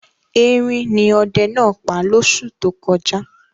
Erin ni ọdẹ náà pa lóṣù tó kọjá.